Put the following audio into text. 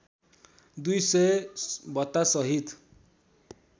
दुई सय भत्तासहित